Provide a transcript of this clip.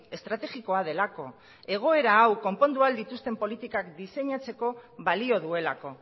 estrategikoa delako egoera hau konpondu ahal dituzten politikak diseinatzeko balio duelako